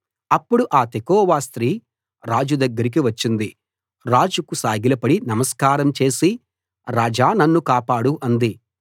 అప్పుడు ఆ తెకోవ స్త్రీ రాజు దగ్గరికి వచ్చింది రాజుకు సాగిలపడి సమస్కారం చేసి రాజా నన్ను కాపాడు అంది